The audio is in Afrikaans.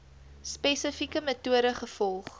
spesifieke metode gevolg